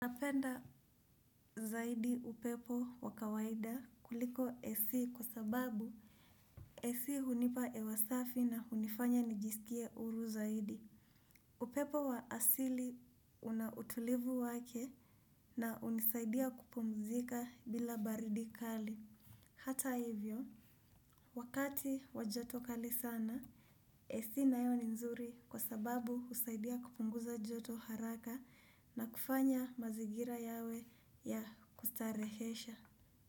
Napenda zaidi upepo wa kawaida kuliko ac kwa sababu ac hunipa hewa safi na hunifanya nijisikie huru zaidi. Upepo wa asili una utulivu wake na hunisaidia kupumzika bila baridi kali. Hata hivyo, wakati wa joto kali sana, av nayo ni nzuri kwa sababu husaidia kupunguza joto haraka na kufanya mazingira yawe ya kustarehesha.